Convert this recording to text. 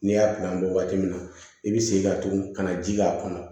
N'i y'a pan waati min na i bi segin ka tugu ka na ji k'a kɔnɔ